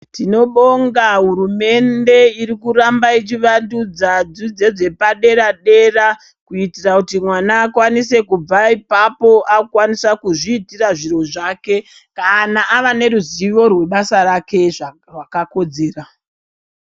Tinobonga hurumende irikuramba ichivandudza dzidzo dzepadera-dera kuitira kuti mwana akwanise kubva ipapo akukwanisa kuzviitira zviro zvake kana ava neruzivo rwebasa rake rwakakodzera.